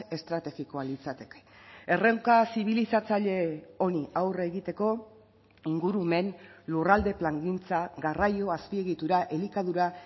estrategikoa litzateke erronka zibilizatzaile honi aurre egiteko ingurumen lurralde plangintza garraio azpiegitura elikadura